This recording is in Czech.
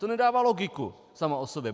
To nedává logiku samo o sobě.